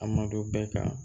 A madu bɛɛ kan